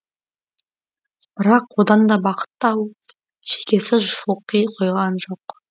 бірақ одан да бақыт тауып шекесі шылқи қойған жоқ